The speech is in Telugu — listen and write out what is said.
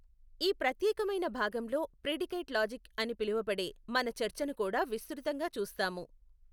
ఈ ప్రత్యేకమైన భాగంలో ప్రిడికేట్ లాజిక్ అని పిలువబడే మన చర్చను కూడా విస్తృుతంగా చూస్తాము.